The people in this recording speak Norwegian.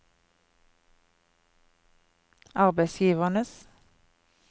arbeidsgivernes